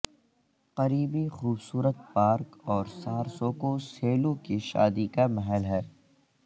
قریبی خوبصورت پارک اور سارسوکو سیلو کے شادی کا محل ہے